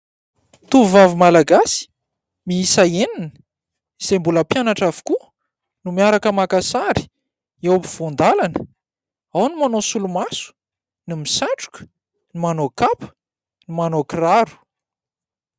Tovovavy malagasy miisa enina izay mbola mpianatra avokoa no miaraka maka sary eo am-povoan-dalana. Ao ny manao solomaso, ny misatroka ny manao kapa ny manao kiraro.